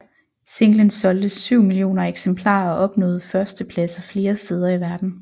Singlen solgte syv millioner eksemplarer og opnåede førstepladser flere steder i verden